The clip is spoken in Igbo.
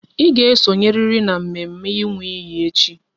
Ị ga esonyeriri n'mme mme ịnwụ iyi echi!